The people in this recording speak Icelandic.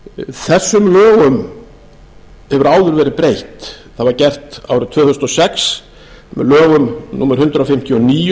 þessum lögum hefur áður verið breytt það var gert árið tvö þúsund og sex með lögum númer hundrað fimmtíu og níu sem tóku